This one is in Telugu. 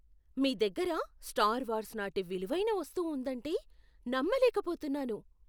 మీ దగ్గర స్టార్ వార్స్ నాటి విలువైన వస్తువు ఉందంటే నమ్మలేకపోతున్నాను.